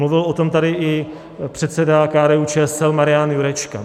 Mluvil o tom tady i předseda KDU-ČSL Marian Jurečka.